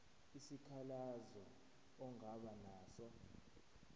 isikhalazo ongaba naso